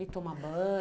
E toma banho.